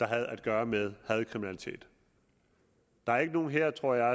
havde at gøre med hadkriminalitet der er ikke nogen her tror jeg